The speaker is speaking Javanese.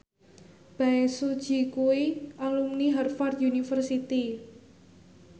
Bae Su Ji kuwi alumni Harvard university